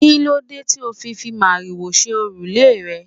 Kíló dé tí o fi fi màrìwò ṣe òrùlé rẹ?